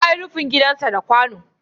Ya yi rufin gidansa da kwano.